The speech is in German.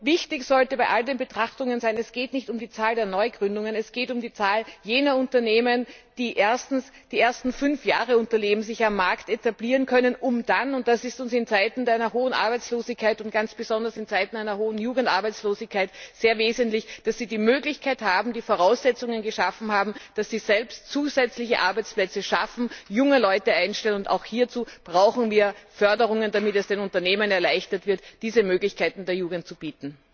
Wichtig sollte bei all den Betrachtungen sein Es geht nicht um die Zahl der Neugründungen, es geht um die Zahl jener Unternehmen, die die ersten fünf Jahre überleben und sich am Markt etablieren können, um dann und das ist in Zeiten mit einer hohen Arbeitslosigkeit und ganz besonders in Zeiten einer hohen Jugendarbeitslosigkeit sehr wesentlich die Möglichkeit zu haben bzw. die Voraussetzungen geschaffen haben, selbst zusätzliche Arbeitsplätze zu schaffen und junge Leute einzustellen. Auch hierzu brauchen wir Förderungen, damit es den Unternehmen erleichtert wird, der Jugend diese Möglichkeiten zu bieten.